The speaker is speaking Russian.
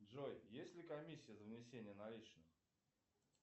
джой есть ли комиссия за внесение наличных